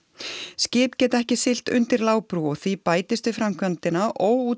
skip geta ekki siglt undir lágbrú og því bætist við framkvæmdina